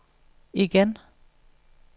igen